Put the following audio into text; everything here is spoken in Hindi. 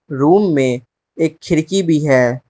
रूम में एक खिड़की भी है।